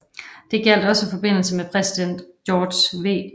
Det gjaldt også i forbindelse med præsident George W